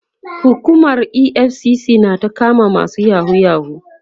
hukumar EFCC na ta kama masu yahoo yahoo